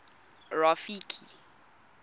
rafiki